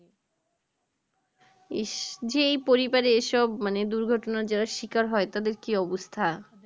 ইস যে এই পরিবারে এই সব মানে দুর্ঘটনার যারা শিকার হয় তাদের কি অবস্থা